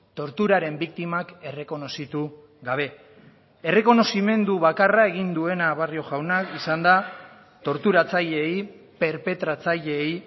torturaren biktimak errekonozitu gabe errekonozimendu bakarra egin duena barrio jaunak izan da torturatzaileei perpetratzaileei